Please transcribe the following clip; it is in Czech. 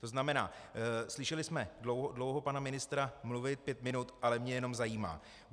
To znamená, slyšeli jsme dlouho pana ministra mluvit - pět minut, ale mě jenom zajímá: